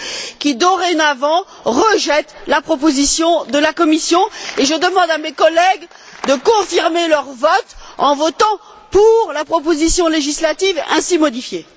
qui, dorénavant, rejette la proposition de la Commission et je demande à mes collègues de confirmer leur vote en votant pour la proposition législative ainsi modifiée.